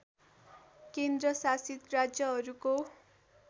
केन्द्र शासित राज्यहरूको